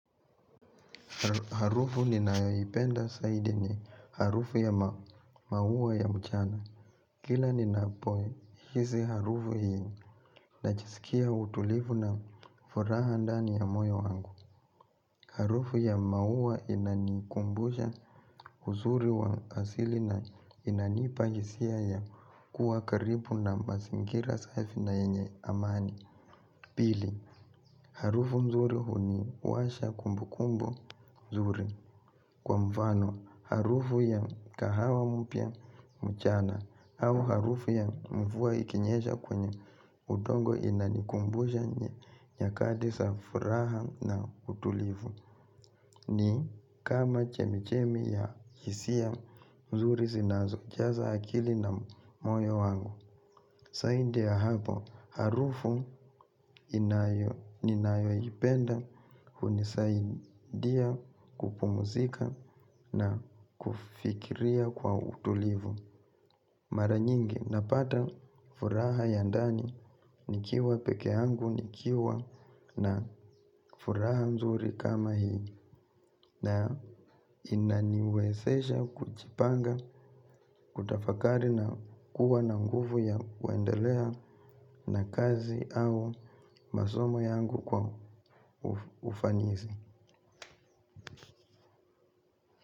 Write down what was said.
Harufu ninaipenda saidi ni harufu ya mahuwa ya mchana. Kila ninapohisi harufu hii najisikia utulivu na furaha ndani ya moyo wangu. Harufu ya mahuwa inanikumbusha huzuri wa asili na inanipahisia ya kuwa karibu na masingira saifi na enye amani. Pili, harufu mzuri hu ni washa kumbu kumbu mzuri. Kwa mvano, harufu ya kahawa mpia mchana au harufu ya mvua ikinyesha kwenye udongo inanikumbusha nyakati sa fraha na utulivu. Ni, kama chemichemi ya hisia mzuri sinazo jaza akili na moyo wangu. Saindia hapo, harufu ninayo ipenda hunisaidia kupumuzika na kufikiria kwa utulivu. Mara nyingi napata furaha yandani nikiwa peke angu nikiwa na furaha mzuri kama hii na inaniwezesha kuchipanga kutafakari na kuwa na nguvu ya waendelea na kazi au masomo yangu kwa ufanisi.